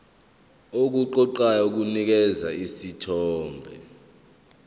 okuqoqayo kunikeza isithombe